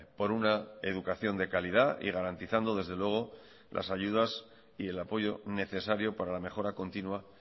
por una educación de calidad y garantizando desde luego las ayudas y el apoyo necesario para la mejora continua